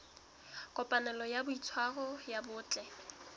kopanelo ya boitshwaro bo botle